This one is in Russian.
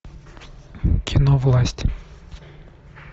кино власть